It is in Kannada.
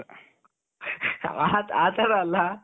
ಆ ತರ ಅಲ್ಲ